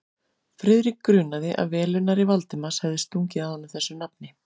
Friðrik grunaði, að velunnari Valdimars hefði stungið að honum þessu nafni.